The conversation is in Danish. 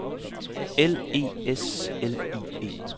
L E S L I E